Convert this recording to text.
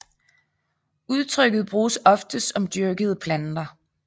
Udtrykket bruges oftest om dyrkede planter